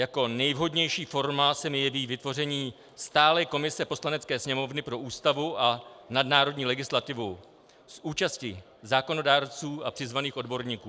Jako nejvhodnější forma se mi jeví vytvoření stálé komise Poslanecké sněmovny pro Ústavu a nadnárodní legislativu s účastí zákonodárců a přizvaných odborníků.